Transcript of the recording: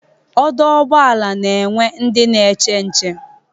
Ọdọ ụgbọala ga-enwe ndị n'eche nche